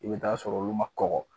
I be t'a sɔrɔ olu ma kɔgɔ